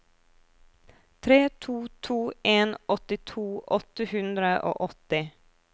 tre to to en åttito åtte hundre og åtti